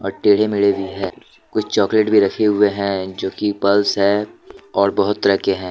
टेढ़े मेढे भी है कुछ चॉकलेट भी रखे हुए है जो कि पल्स है और बाहोत तरह के है।